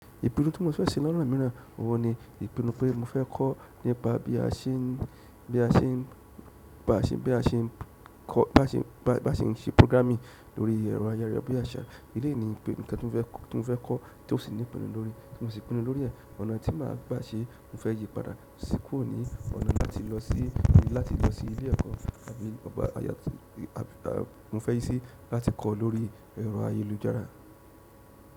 Ìpínnù tí mo fẹ́ ṣe lọ́nà míràn òun ni ìpínnù pé mo fẹ́ kọ́ nípa bí a ṣe ń, bí a ṣe ń, bá ṣe ń, bí a ṣe ń kọ́, bá ṣe ń, bá ṣe ń ṣe programming lórí ẹ̀rọ ayarabíaṣà. Eleyi ni nkan ti mo fe ko ti mo si pinu lórí e ọ̀nà tí màá bà ṣe, mo fẹ́ yí padà sí kurọ́ ni ọ̀nà láti lọ sí, láti lọ sí ilé ẹ̀kọ́, àbí à mo fẹ́ yí sí láti kọ́ lórí ẹ̀rọ ayélujára.